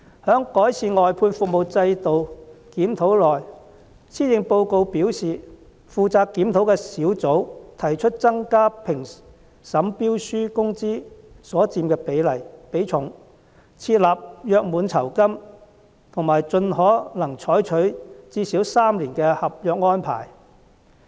關於改善外判制度的檢討，施政報告表示，負責檢討的工作小組提出增加評審標書工資所佔的比重、設立約滿酬金和盡可能採用最少3年的合約安排。